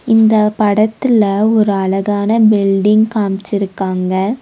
இந்த படத்துல ஒரு அழகான பில்டிங் காம்ச்சிருக்காங்க.